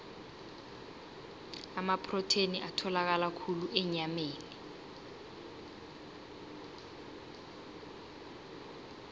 amaprotheni atholakala khulu enyameni